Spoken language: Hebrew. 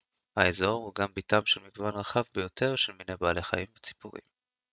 האזור הוא גם ביתם של מגוון רחב ביותר של מיני בעלי חיים וציפורים